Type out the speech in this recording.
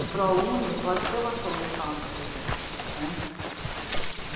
O proune pode ser uma solução, por exemplo.